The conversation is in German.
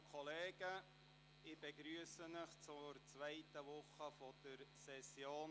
Ich begrüsse Sie zur zweiten Woche der Septembersession.